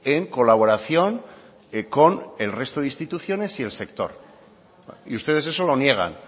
en colaboración con el resto de instituciones y el sector y ustedes eso lo niegan